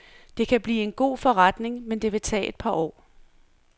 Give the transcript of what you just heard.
Det kan blive en god forretning, men det vil tage et par år.